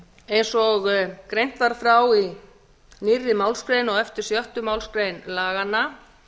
eins og greint var frá í nýrri málsgrein á eftir sjöttu málsgrein laganna